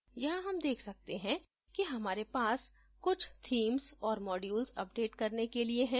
यहाँ हम देख सकते हैं कि हमारे पास कुछ themes औऱ modules अपडेट करने के लिए है